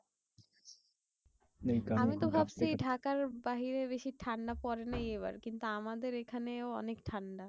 আমি তো ভাবছি ঢাকার বাইরে বেশি ঠান্ডা পড়েনি এই বার। কিন্তু আমাদের এখানেও অনেক ঠান্ডা।